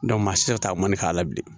maa si tɛ se ka taa mɔni k'a la bilen